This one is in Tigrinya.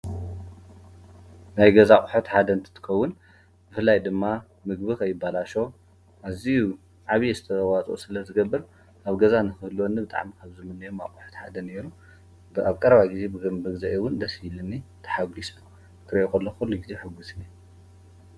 ናይ ገዛ ኣቁሑት ሓደ እንትኽውን ብፍላይ ድማ ምግቢ ከይባለሾ ኣዝዮ ዓብዩ ኣስተዋፅኦ ስለ ዝገብር ኣብ ገዛ ንክህልወኒ ብጣዕሚ ካብ ዝምነዮም ኣቁሑት ሓደ ነይሩ። ኣብ ቀረባ ግዜ ብምግዘአይ እውን ደስ ይብለኒ ተሓጉሰ ክሪኦ እንተለኩ ኩሉ ግዜ ሕጉስ እየ።